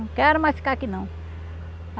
Não quero mais ficar aqui, não.